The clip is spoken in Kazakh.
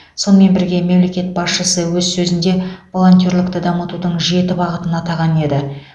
сонымен бірге мемлекет басшысы өз сөзінде волонтерлікті дамытудың жеті бағытын атаған еді